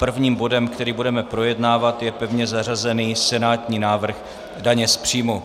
Prvním bodem, který budeme projednávat, je pevně zařazený senátní návrh daně z příjmu.